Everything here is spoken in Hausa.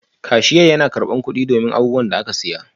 Kasirar yana karɓar kuɗi don abubuwan da aka saya